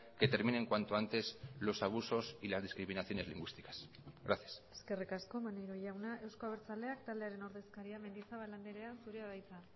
que terminen cuanto antes los abusos y las discriminaciones lingüísticas gracias eskerrik asko maneiro jauna euzko abertzaleak taldearen ordezkaria mendizabal andrea zurea da hitza